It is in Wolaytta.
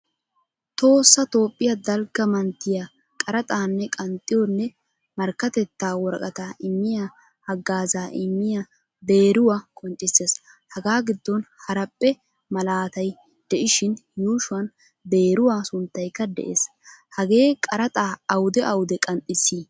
Tohossa toophphiyaa dalgga manttiyan qaraxxanne qanxxiyonne markkatetta worqqata immiyaa hagaazza immiyaa beeruwaa qonccisees. Hagaa giddon haraphphee malaatay deishin yuushuwan beeruwaa sunttaykka de"ees. Hagee qaraxa awudee awudee qanxisi?